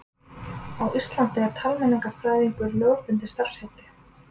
Á Íslandi er talmeinafræðingur lögbundið starfsheiti.